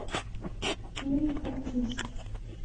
юрий харциз